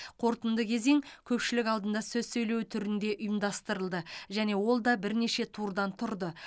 қорытынды кезең көпшілік алдында сөз сөйлеу түрінде ұйымдастырылды және ол да бірнеше турдан тұрды